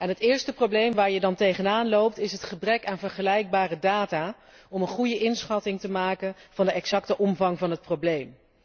Het eerste probleem waar je dan tegenaan loopt, is het gebrek aan vergelijkbare data om een goede inschatting te maken van de exacte omvang van het probleem.